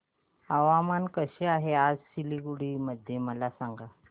हवामान कसे आहे सिलीगुडी मध्ये मला सांगा